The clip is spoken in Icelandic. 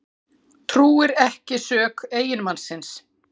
Trúir ekki sök eiginmannsins